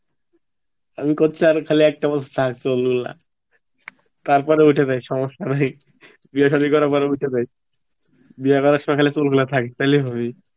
আমি করছি আর খালি একটা বছর তারপরে উঠে যাক সমস্যা নাই, বিয়ে সাদি করার পর উঠে যাক বিয়া করার সমাই খালি চুল গুলো থাক তাহলেই হবি